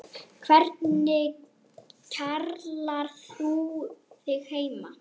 Hvernig kjarnar þú þig heima?